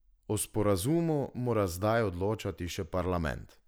O sporazumu mora zdaj odločati še parlament.